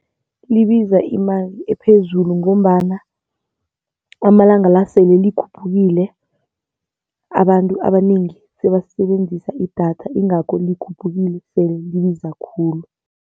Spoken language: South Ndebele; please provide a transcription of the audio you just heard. Libiza imali ephezulu ngombana amalanga la sele likhuphukile, abantu abanengi sebasebenzisa idatha ingakho likhuphukile, sele libiza khulu.